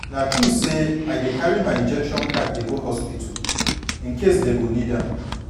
na true say i dey carry my injection card dey go hospital incase dey go need am